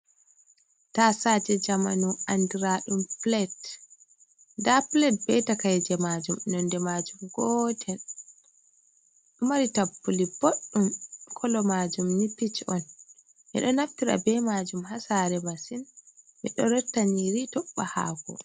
Tasaje jamanu andira ɗum plet. Nda plet be takaije majum Nonde majum gotel. Ɗomari tappuli boɗɗum. Kala majum ni pij on. Ɓe ɗo naftira be majum ha sare masin. Ɓe ɗo rotta nyiri tobba hako.